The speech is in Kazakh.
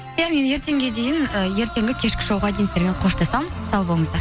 ия мен ертеңге дейін ііі ертеңгі кешкі шоуға дейін сіздермен қоштасамын сау болыңыздар